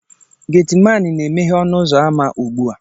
Getiman na-emeghe ọnụ ụzọ ámá ugbu a